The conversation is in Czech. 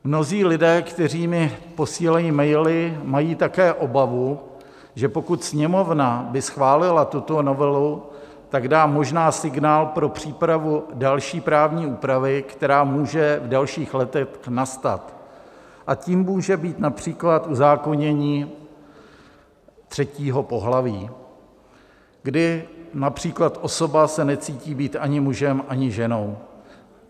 Mnozí lidé, kteří mi posílají maily, mají také obavu, že pokud Sněmovna by schválila tuto novelu, tak dá možná signál pro přípravu další právní úpravy, která může v dalších letech nastat, a tím může být například uzákonění třetího pohlaví, kdy například osoba se necítí být ani mužem, ani ženou.